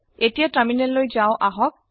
এতিয়া টাৰমিনেললৈ যাওঁ আহক